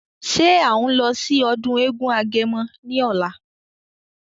Ṣé à ń lọ sí ọdún eégún agẹmọ ní ọ̀la?